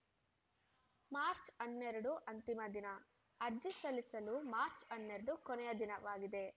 March ಹನ್ನೆರಡು ಅಂತಿಮ ದಿನ ಅರ್ಜಿ ಸಲ್ಲಿಸಲು ಮಾರ್ಚ್ ಹನ್ನೆರಡು ಕೊನೆಯ ದಿನವಾಗಿದೆ